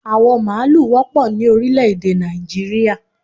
Awọ maalu wọ́pọ̀ ni orílẹ̀ èdè Nàìjíríà